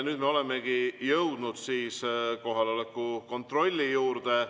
Nüüd me olemegi jõudnud kohaloleku kontrolli juurde.